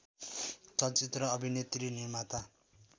चलचित्र अभिनेत्री निर्माता